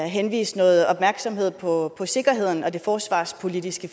henlede noget opmærksomhed på sikkerheden og det forsvarspolitiske